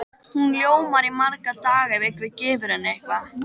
Hún ljómar í marga daga ef einhver gefur henni eitthvað.